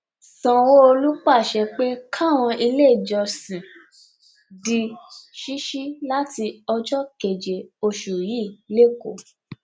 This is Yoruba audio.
sanwóolu pàṣẹ pé káwọn iléèjọsìn di ṣíṣí láti ọjọ keje oṣù yìí lẹkọọ